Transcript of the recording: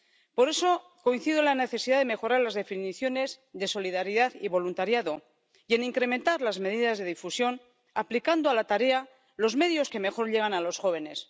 Por eso coincido en la necesidad de mejorar las definiciones de solidaridad y voluntariado y en incrementar las medidas de difusión aplicando a la tarea los medios que mejor llegan a los jóvenes.